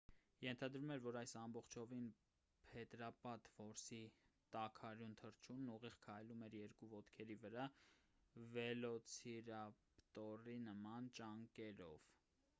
ենթադրվում էր որ այս ամբողջովին փետրապատ որսի տաքարյուն թռչունն ուղիղ քայլում էր երկու ոտքերի վրա վելոցիրապտորի նման ճանկերով